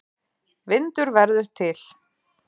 Vindur verður til.